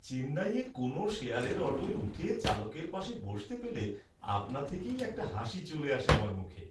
চেন্নাইয়ে কোনও শেয়ারের অটোয় উঠে চালকের পাশে বসতে পেলে আপনা থেকেই একটা হাসি চলে আসে আমার মুখে।